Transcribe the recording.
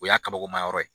O y'a kabakomayɔrɔ ye